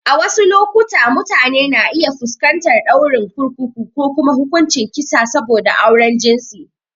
A wasu lokuta, mutane na iya fuskantar ɗaurin kurkuku ko ma hukuncin kisa saboda auren jinsi.